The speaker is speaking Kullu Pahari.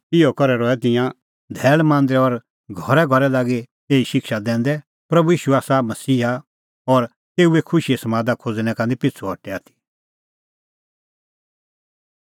इहअ करै रहै तिंयां धैल़ मांदरै और घरैघरै लागी एही शिक्षा दैंदै प्रभू ईशू आसा मसीहा और तेऊए खुशीए समादा खोज़णैं का निं पिछ़ू हटै आथी